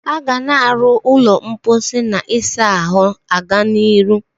Aga na aro ulo mposi na isa ahu aga n'iru.